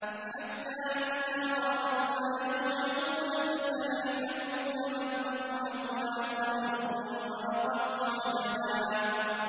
حَتَّىٰ إِذَا رَأَوْا مَا يُوعَدُونَ فَسَيَعْلَمُونَ مَنْ أَضْعَفُ نَاصِرًا وَأَقَلُّ عَدَدًا